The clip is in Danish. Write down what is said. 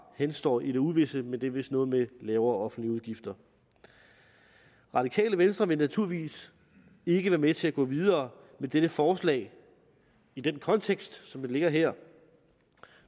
henstår i det uvisse men det er vist noget med lavere offentlige udgifter radikale venstre vil naturligvis ikke være med til at gå videre med dette forslag i den kontekst som det ligger her